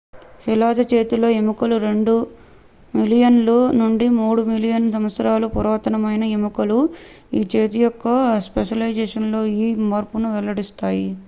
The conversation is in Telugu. శిలాజ చేతి ఎముకలు రెండు మిలియన్ ల నుండి మూడు మిలియన్ సంవత్సరాల పురాతన మైన ఎముకలు ఈ చేతి యొక్క స్పెషలైజేషన్ లో ఈ మార్పును వెల్లడిస్తాయి